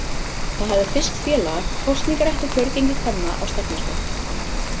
Það hafði fyrst félaga kosningarétt og kjörgengi kvenna á stefnuskrá.